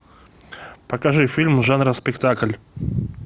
покажи фильм жанра спектакль